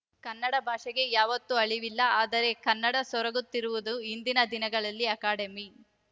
ಕನ್ನಡ ಭಾಷೆಗೆ ಯಾವತ್ತು ಅಳಿವಿಲ್ಲ ಆದರೆ ಕನ್ನಡ ಸೊರಗುತ್ತಿರುವ ಇಂದಿನ ದಿನಗಳಲ್ಲಿ ಅಕಾಡೆಮಿ